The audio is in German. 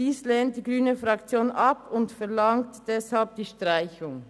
Dies lehnt die grüne Fraktion ab und verlangt deshalb die Streichung.